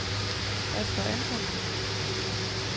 Asger Antonsen